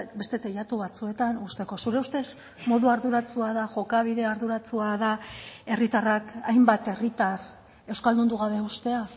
beste teilatu batzuetan uzteko zure ustez modu arduratsua da jokabide arduratsua da herritarrak hainbat herritar euskaldundu gabe uztea